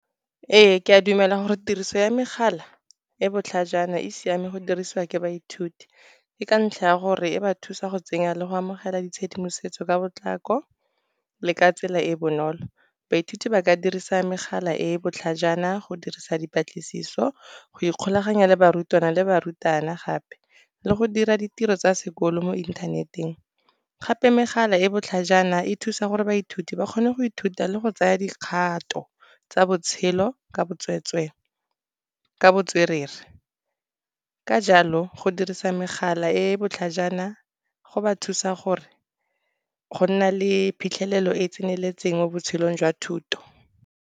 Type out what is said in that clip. Ee, ke a dumela gore tiriso ya megala e botlhajana e siame go dirisiwa ke baithuti. Ke ka ntlha ya gore e ba thusa go tsenya le go amogela ditshedimosetso ka potlako, le ka tsela e e bonolo. Baithuti ba ka dirisa megala e e botlhajana go dirisa dipatlisiso go ikgolaganya le barutwana le barutabana gape, le go dira ditiro tsa sekolo mo inthaneteng. Gape megala e e botlhajana e thusa gore baithuti ba kgone go ithuta le go tsaya dikgato tsa botshelo ka botswerere. Ka jalo go dirisa megala e e botlhajana, go ba thusa go nna le phitlhelelo e e tseneletseng mo botshelong jwa thuto.